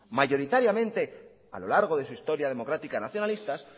mayoritariamente a lo largo de su historia democrática nacionalistas